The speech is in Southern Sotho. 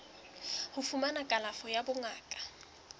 ho fumana kalafo ya bongaka